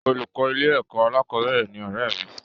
Olùkọ́ ilé-ẹ̀kọ́ alákọ̀ọ́bẹ̀rẹ̀ ni ọ̀rẹ́ẹ̀ mi